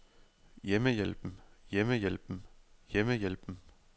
hjemmehjælpen hjemmehjælpen hjemmehjælpen